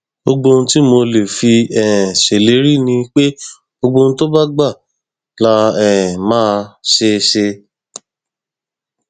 gbogbo ohun tí mo lè fi um ṣèlérí ni pé gbogbo ohun tó bá gbà la um máa ṣe ṣe